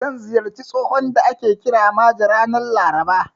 Zan ziyarci tsohon da ake kira Maje, ranar Laraba.